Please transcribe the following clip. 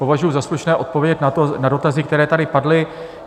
Považuji za slušné odpovědět na dotazy, které tady padly.